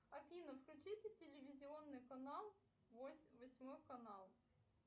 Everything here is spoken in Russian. афина включите телевизионный канал восьмой канал